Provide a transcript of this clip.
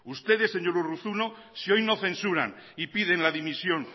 ustedes señor urruzuno si hoy no censuran y piden la dimisión